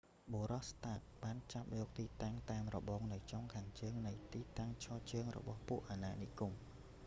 បុរស ស្តាក stark បានចាប់យកទីតាំងតាមរបងនៅចុងខាងជើងនៃទីតាំងឈរជើងររបស់ពួកអាណានិគម